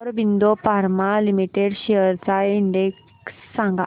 Aurobindo pharma limited shares चा index सांगा